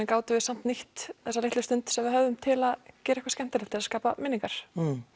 gátum við samt nýtt þessa litlu stund sem við höfðum til að gera eitthvað skemmtilegt til að skapa minningar